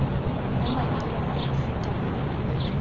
mo manyalong a a fetang